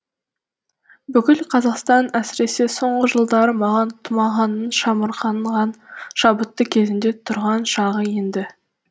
бүкіл қазақстан әсіресе соңғы жылдары маған тұмағаңның шамырқанған шабытты кезінде тұрған шағы енді